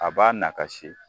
A b'a nakasi.